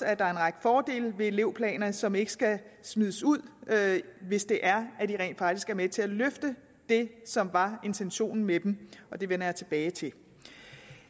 at der er en række fordele ved elevplaner som ikke skal smides ud hvis det er at de rent faktisk er med til at løfte det som det var intentionen med dem det vender jeg tilbage til